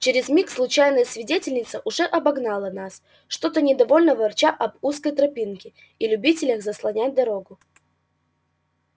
через миг случайная свидетельница уже обогнала нас что-то недовольно ворча об узкой тропинке и любителях заслонять дорогу